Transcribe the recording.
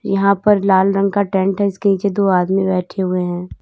यहां पर लाल रंग का टेंट है इसके नीचे दो आदमी बैठे हुए हैं।